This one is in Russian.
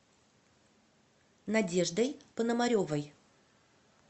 надеждой пономаревой